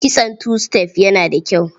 Kitson tu-sitef yana da kyau.